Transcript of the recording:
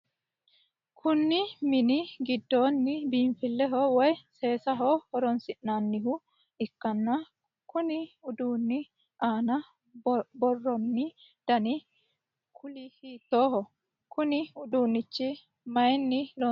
Kunni minni gidoonni biinfileho woye seesaho horoonsi'nanniha ikkanna konni uduunni aanna buuroonni danni kuuli hiittooho? Konne uduunicho mayinni loonsoonniro xawisi